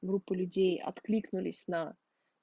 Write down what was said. группа людей откликнулись на